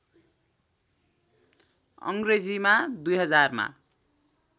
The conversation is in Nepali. अङ्ग्रेजीमा २००० मा